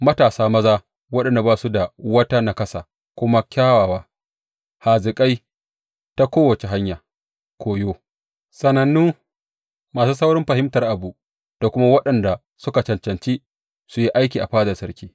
Matasa maza waɗanda ba su da wata naƙasa kuma kyawawa, hazikai ta kowace hanyar koyo, sanannu, masu saurin fahimtar abu, da kuma waɗanda suka cancanci su yi aiki a fadar sarki.